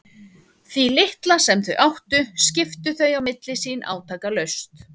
Því litla sem þau áttu skiptu þau á milli sín átakalaust.